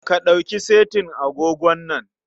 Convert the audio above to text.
Ka ɗauki setin agogon nan.